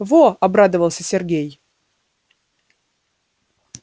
во обрадовался сергей